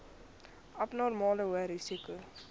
abnormale hoë risiko